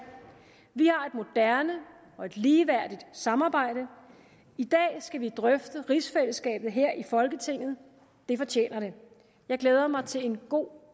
vi og ligeværdigt samarbejde i dag skal vi drøfte rigsfællesskabet her i folketinget det fortjener det jeg glæder mig til en god